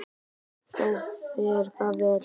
Þá fer það vel.